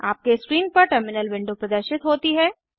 आपके स्क्रीन पर terminal window प्रदर्शित होती है